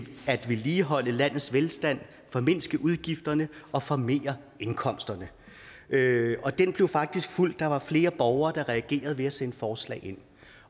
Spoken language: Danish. at vedligeholde landets velstand formindske udgifterne og formere indkomsterne og den blev faktisk fulgt der var flere borgere der reagerede ved at sende forslag ind